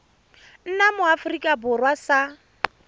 nna mo aforika borwa sa